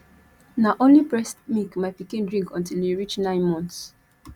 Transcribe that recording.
na only breast milk my pikin drink until e reach nine months